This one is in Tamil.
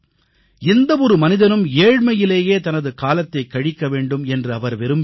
எந்த ஒரு மனிதனும் ஏழ்மையிலேயே தனது காலத்தைக் கழிக்க வேண்டும் என்று அவர் விரும்பியதில்லை